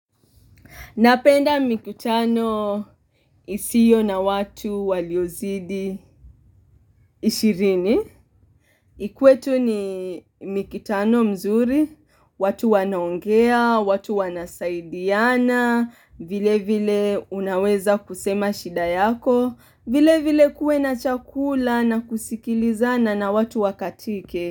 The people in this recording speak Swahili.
Napenda mikutano isiyo na watu waliozidi ishirini. Ikuwe tu ni mikutano mizuri, watu wanaongea, watu wanasaidiana, vile vile unaweza kusema shida yako, vile vile kuwe na chakula na kusikilizana na watu wakatike.